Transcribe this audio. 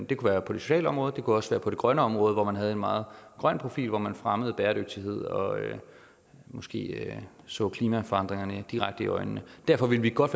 det kunne være på det sociale område det kunne også være på det grønne område hvor man havde en meget grøn profil og hvor man fremmede bæredygtighed og måske så klimaforandringerne direkte i øjnene derfor ville vi godt